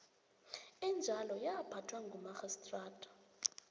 enjalo yaphathwa ngumarhistrata